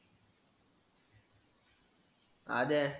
आद्या,